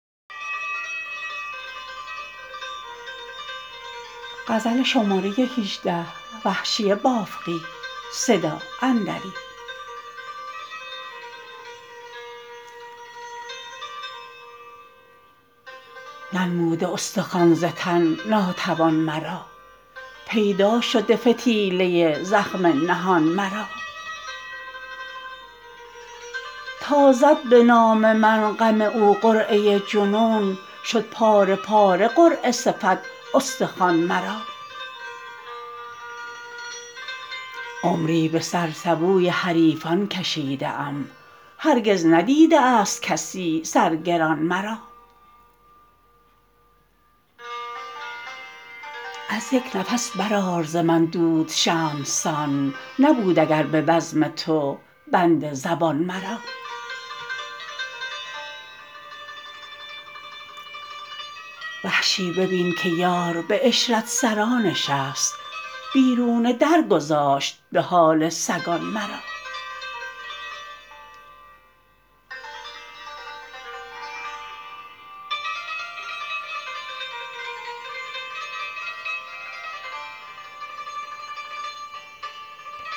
ننموده استخوان ز تن ناتوان مرا پیدا شده فتیله زخم نهان مرا تا زد به نام من غم او قرعه جنون شد پاره پاره قرعه صفت استخوان مرا عمری به سر سبوی حریفان کشیده ام هرگز ندیده است کسی سرگران مرا از یک نفس برآر ز من دود شمعسان نبود اگر به بزم تو بند زبان مرا وحشی ببین که یار به عشرت سرا نشست بیرون در گذاشت به حال سگان مرا